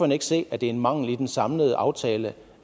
ikke se at det er en mangel i den samlede aftale